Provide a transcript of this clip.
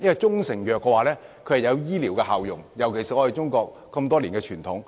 中成藥有醫療效用，是中國多年來的傳統。